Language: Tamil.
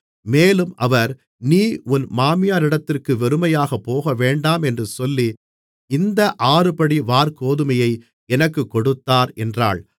மேலும் அவர் நீ உன் மாமியாரிடத்திற்கு வெறுமையாகப் போகவேண்டாம் என்று சொல்லி இந்த ஆறுபடி வாற்கோதுமையை எனக்குக் கொடுத்தார் என்றாள்